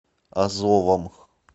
азовом